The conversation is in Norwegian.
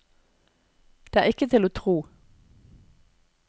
Det er ikke til å tro.